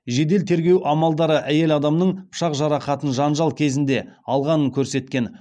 жедел тергеу амалдары әйел адамның пышақ жарақатын жанжал кезінде алғанын көрсеткен